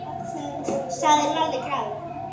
sagði Lalli glaður.